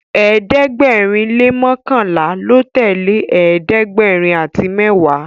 ẹ̀ẹ́dẹ̀gbẹ̀rin le mọkanla ló tẹlẹ ẹ̀ẹ́dẹ̀gbẹ̀rin àti mẹwa